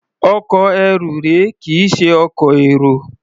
Ọkọ̀ ẹrù rèé, kì í ṣe ọkọ̀ èrò.